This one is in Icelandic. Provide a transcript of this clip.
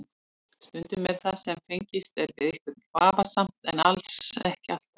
Stundum er það sem fengist er við eitthvað vafasamt en alls ekki alltaf.